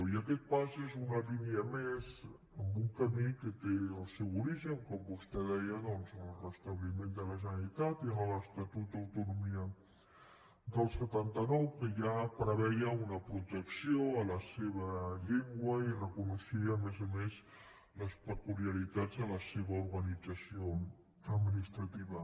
i aquest pas és una línia més en un camí que té el seu origen com vostè deia doncs en el restabliment de la generalitat i en l’estatut d’autonomia del setanta nou que ja preveia una protecció a la seva llengua i reconeixia a més a més les peculiaritats de la seva organització administrativa